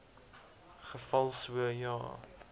geval so ja